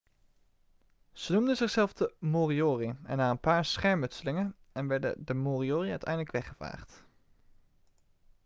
ze noemden zichzelf de moriori en na een paar schermutselingen en werden de moriori uiteindelijk weggevaagd